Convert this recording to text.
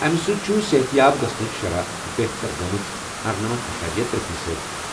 اَمہِ سٕتۍ چھُ صحت یاب گژھنٕچ شرح بہتر گٔمٕژ 98.3 فیٖصد۔